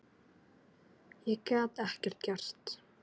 Ég gat ekkert gert.